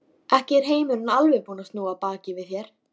Ekki er heimurinn alveg búinn að snúa baki við þér.